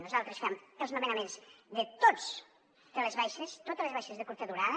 nosaltres fem els nomenaments de totes les baixes totes les baixes de curta durada